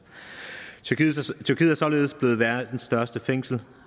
tyrkiet er således blevet verdens største fængsel